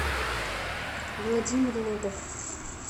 владимир лобов